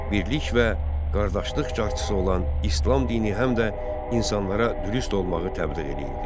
Birlik və qardaşlıq carçısı olan İslam dini həm də insanlara dürüst olmağı təbliğ eləyirdi.